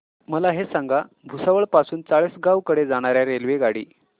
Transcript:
मला हे सांगा भुसावळ पासून चाळीसगाव कडे जाणार्या रेल्वेगाडी